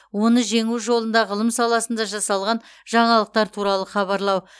оны жеңу жолында ғылым саласында жасалған жаңалықтар туралы хабарлау